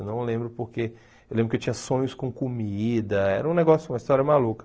Eu não lembro porque eu lembro que eu tinha sonhos com comida, era um negócio, uma história maluca.